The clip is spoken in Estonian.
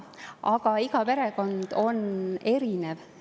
Aga iga perekond on erinev.